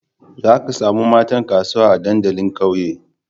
Zaka samu matan kasuwa a dandalin ƙauye